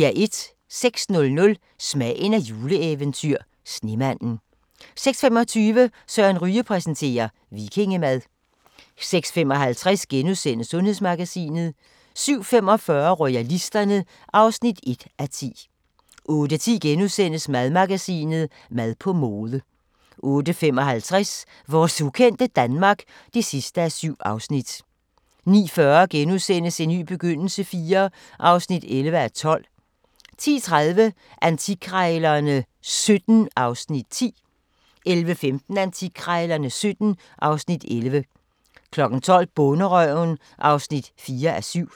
06:00: Smagen af et juleeventyr – Snemanden 06:25: Søren Ryge præsenterer - vikingemad 06:55: Sundhedsmagasinet * 07:45: Royalisterne (1:10) 08:10: Madmagasinet: Mad på mode * 08:55: Vores ukendte Danmark (7:7) 09:40: En ny begyndelse IV (11:12)* 10:30: Antikkrejlerne XVII (Afs. 10) 11:15: Antikkrejlerne XVII (Afs. 11) 12:00: Bonderøven (4:7)